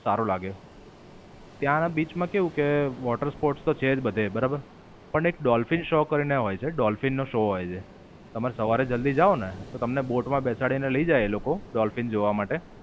સારું લાગે. ત્યાંના બીચ માં કેવું કે, water sports તો છે જ બધે બરાબર. પણ એક Dolphin Show કરીને હોય છે. ડોલ્ફિન નો શૉ હોય છે. તમે સવારે જલ્દી જાઓ ને તો તમને બોટ માં બેસાડીને લઇ જાય એ લોકો ડોલ્ફિન જોવા માટે.